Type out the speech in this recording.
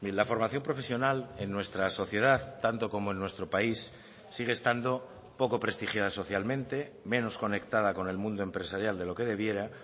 la formación profesional en nuestra sociedad tanto como en nuestro país sigue estando poco prestigiada socialmente menos conectada con el mundo empresarial de lo que debiera